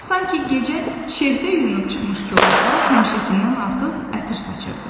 Sanki gecə şehdə yunub çıxmış kolluqlar həmişəkindən artıq ətir saçırdı.